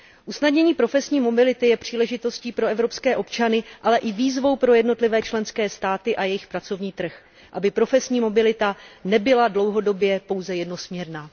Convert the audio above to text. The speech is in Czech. Usnadnění profesní mobility je příležitostí pro evropské občany, ale i výzvou pro jednotlivé členské státy a jejich pracovní trh, aby profesní mobilita nebyla dlouhodobě pouze jednosměrná.